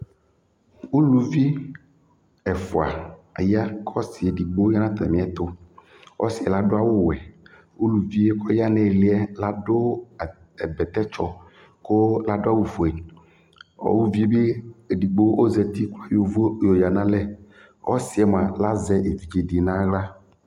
Uluvi ɛfwa aya kʊ ɔsi edigbo ya nʊ atamɩɛtʊ Ɔsi yɛ ladʊ awʊwɛ Ulivi yɛ kʊ ɔya nʊ ɩlɩ yɛ ladʊ bɛtɛtsɔ kʊ ladʊ awʊfoe Uluvi bi edigbo ɔzati kʊ ayɔ ʊvʊ yoyǝ nʊ alɛ Ɔsi yɛ mʊa lazɛ evidzedi nʊ aɣla